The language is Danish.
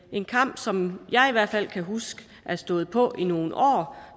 en kamp som jeg i hvert fald kan huske har stået på i nogle år og